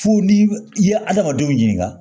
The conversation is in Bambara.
Fo ni i ye adamadenw ɲininka